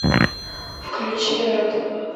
включи рэд